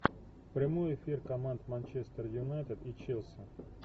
прямой эфир команд манчестер юнайтед и челси